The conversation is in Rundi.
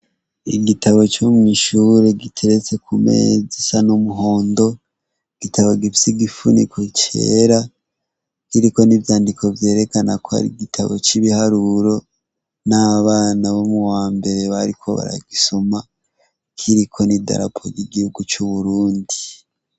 Igitabu co mw'ishure giteretse ku meza isa n'umuhondo. Igitabu gifise igifuniko cera, kiriko n'ivyandiko vyerekana ko ari igitabu c'ibiharuro, n' abana bo mu wa mbere bariko baragisoma. Kiriko n'idarapo ry'igihugu c'uburundi.